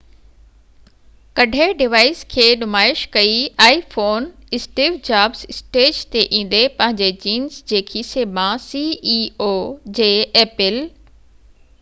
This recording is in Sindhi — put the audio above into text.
apple جي ceo اسٽيو جابس اسٽيج تي ايندي پنهنجي جينس جي کيسي مان iphone ڪڍي ڊوائيس کي نمائش ڪئي